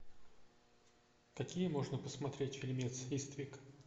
какие можно посмотреть фильмец иствик